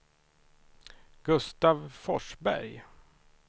Gustav Forsberg